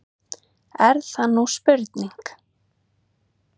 Er það nú spurning!